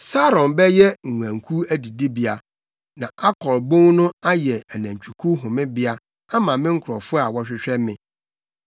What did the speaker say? Saron bɛyɛ nguankuw adidibea, na Akor bon no ayɛ anantwikuw homebea ama me nkurɔfo a wɔhwehwɛ me.